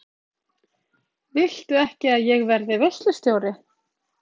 Viltu ekki að ég verði veislustjóri?